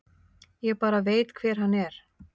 Ég bara veit hver hann er.